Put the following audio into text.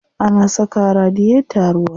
Ana saka wa radiyeta ruwa.